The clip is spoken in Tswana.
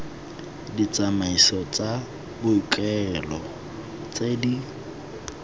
ditsamaiso tsa boikuelo tse di